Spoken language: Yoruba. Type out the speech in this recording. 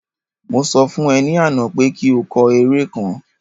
Mo sọ fún e ní àná pé kí o kọ eré kan